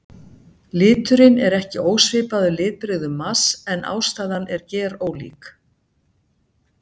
Liturinn er ekki ósvipaður litbrigðum Mars en ástæðan er gerólík.